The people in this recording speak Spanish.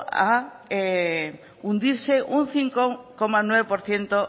a hundirse un cinco coma nueve por ciento